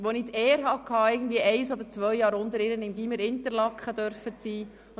Ich hatte die Ehre, ein oder zwei Jahre unter ihr das Gymnasium Interlaken zu besuchen.